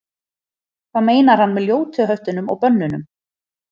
hvað meinar hann með ljótu höftunum og bönnunum